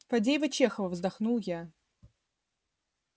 фадеева-чехова вздохнул я